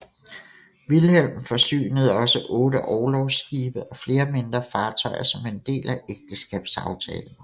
Vilhelm forsynede også otte orlogsskibe og flere mindre fartøjer som en del af ægteskabsaftalen